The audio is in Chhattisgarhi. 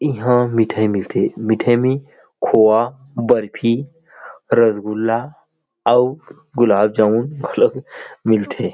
इहां मिठाई मिल थे मिठाई में खोवा बर्फी रसगुल्ला अउ गुलाब जामुन घलो मिलथे।